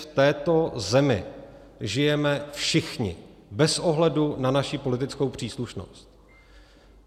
V této zemi žijeme všichni bez ohledu na svoji politickou příslušnost.